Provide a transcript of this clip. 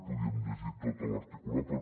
podríem llegir tot l’articulat però